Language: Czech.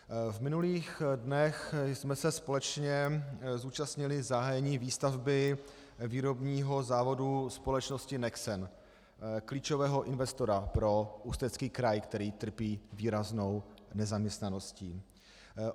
V minulých dnech jsme se společně zúčastnili zahájení výstavby výrobního závodu společnosti Nexen, klíčového investora pro Ústecký kraj, který trpí výraznou nezaměstnaností.